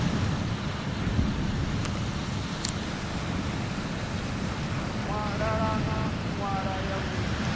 ṱalana nḓala ya lufuno i